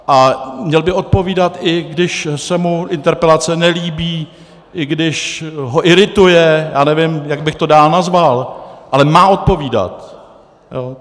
A měl by odpovídat, i když se mu interpelace nelíbí, i když ho irituje, já nevím, jak bych to dál nazval, ale má odpovídat.